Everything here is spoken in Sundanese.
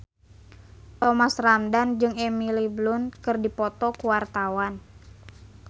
Thomas Ramdhan jeung Emily Blunt keur dipoto ku wartawan